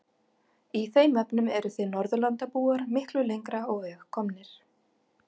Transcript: Í þeim efnum eruð þið Norðurlandabúar miklu lengra á veg komnir.